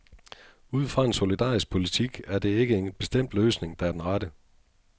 Ud fra en solidarisk politik er der ikke en bestemt løsning, der er den rette.